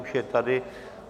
Už je tady.